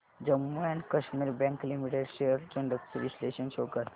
Jammu and Kashmir bank limited shares trends चे विश्लेषण show कर